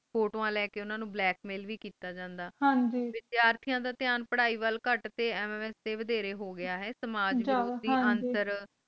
ਫੋਟੋਆਂ ਲਈ ਉਂਣਾਹ ਨੂੰ ਬ੍ਲੈਕ ਮੇਲ ਵੇ ਕੀਤਾ ਜਾਂਦਾ ਹਨ ਗ ਤੇ ਵਿਦਿਆਰਥੀਆਂ ਦਾ ਥਯਾਂ ਪੂਰਹਿ ਵੂਲ ਖੁਟ ਤੇ MMS ਡੇ ਵੇਧਰੇ ਹੋ ਗਯਾ ਹੈ ਸਮਾਜ